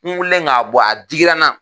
N wulilen k'a bɔ a digira na.